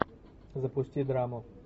запусти драму